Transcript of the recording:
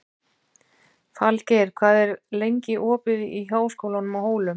Falgeir, hvað er lengi opið í Háskólanum á Hólum?